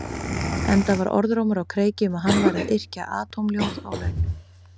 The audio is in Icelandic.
Enda var orðrómur á kreiki um að hann væri að yrkja atómljóð á laun.